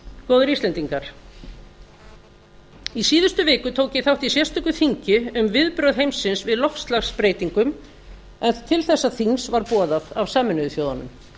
góðir íslendingar í síðustu viku tók ég þátt í sérstöku þingi um viðbrögð heimsins við loftslagsbreytingum en til þessa þings var boðað af sameinuðu þjóðunum